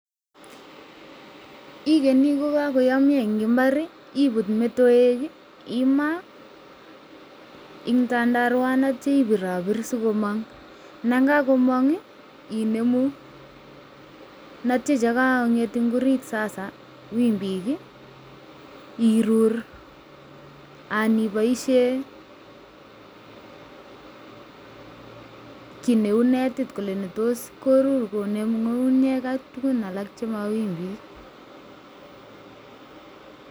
igenyi ko kakoyamya eng imbar ibuut metowek ,imaa eng tandarwa aitya ibirabir si komang, nda kakomang inemu aitya che kakonget eng orit sasa wimbuk irur anan iboisie kit neu netit korur konem ngungunyek ak tugun alak che ma wimbik